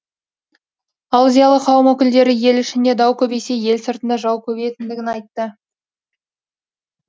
ал зиялы қауым өкілдері ел ішінде дау көбейсе ел сыртында жау көбейетіндігін айтты